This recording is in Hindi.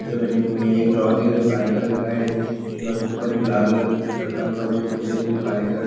जो बने हुए हैं एक ड्रा दिख रहा है जो काले कलर का है ब्रोच के ऊपर एक लाल कलर का कुछ रखा हुआ है दो कुर्सियां रखी हैं जो काले कलर --